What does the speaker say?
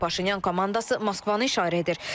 Paşinyan komandası Moskvanı işarə edir.